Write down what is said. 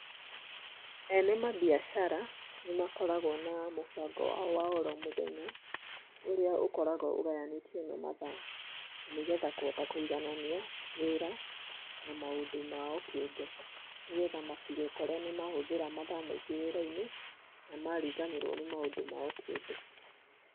Ene mambiacara nĩmakoragwo na mũbango wao wa oromũthenya ũria ũkoragwo ũgayanĩtio na mathaa nĩgetha kũhota kũiganania wĩra na maũndũ mao kĩũmbe nĩgetha matigekore nĩmahũthira mathaa maingĩ wĩrainĩ na mariganĩrwo nĩ maũndũ mao kĩũmbe.